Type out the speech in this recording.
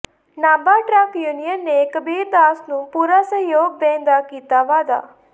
Nabha truck union ਨੇ ਕਬੀਰ ਦਾਸ ਨੂੰ ਪੂਰਾ ਸਹਿਯੋਗ ਦੇਣ ਦਾ ਕੀਤਾ ਵਾਅਦਾ